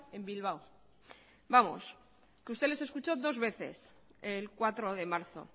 en bilbao vamos que usted les escuchó dos veces el cuatro de marzo